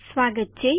સ્વાગત છે